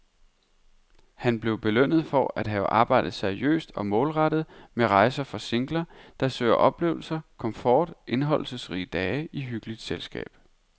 Han blev belønnet for at have arbejdet seriøst og målrettet med rejser for singler, der søger oplevelser, komfort og indholdsrige dage i hyggeligt selskab.